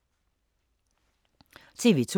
TV 2